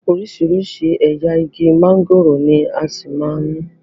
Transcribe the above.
Oríṣiríṣi ẹ̀yà igi mángòrò ni a ṣì máa ní.